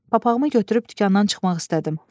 Papağımı götürüb dükandan çıxmaq istədim.